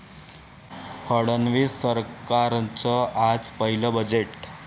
फडणवीस सरकारचं आज पहिलं बजेट